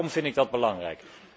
Daarom vind ik dat belangrijk.